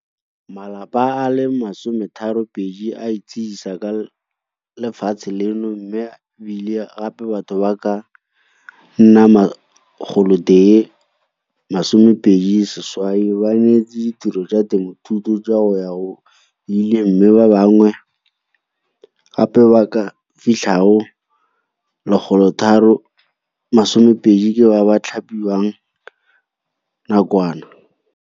Malapa a le 32 a itshedisa ka lefatshe leno mme e bile gape batho ba ka nna 128 ba neetswe ditiro tsa temothuo tsa go ya go ile mme ba bangwe gape ba ba ka fitlhang go 320 ke ba ba thapiwang nakwana.